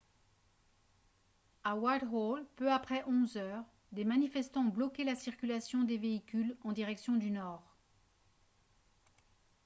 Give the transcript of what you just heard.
à whitehall peu après 11 h 00 des manifestants ont bloqué la circulation des véhicules en direction du nord